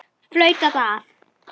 Flautað af.